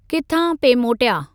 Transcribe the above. किथां पिए मोटया?